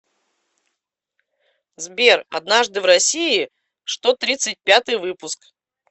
сбер однажды в россии что тридцать пятый выпуск